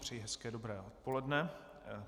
Přeji hezké dobré odpoledne.